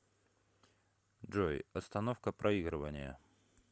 джой остановка проигрывания